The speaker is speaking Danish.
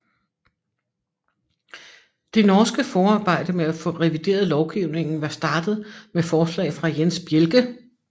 Det norske forarbejde med at få revideret lovgivningen var startet med forslag fra Jens Bjelke